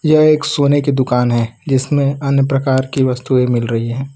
यह एक सोने की दुकान है जिसमें अन्य प्रकार की वस्तुएं मिल रही हैं।